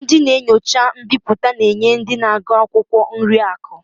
Ndị na-enyocha mbipụta na-enye ndị na-agụ akwụkwọ nri akụ